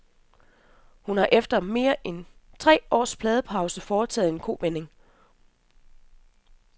Hun har efter mere end tre års pladepause foretaget en kovending.